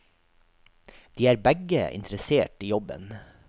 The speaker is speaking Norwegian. De er begge interessert i jobben.